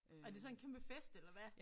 Er det så en kæmpe fest eller hvad?